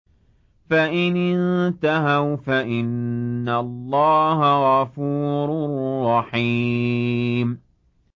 فَإِنِ انتَهَوْا فَإِنَّ اللَّهَ غَفُورٌ رَّحِيمٌ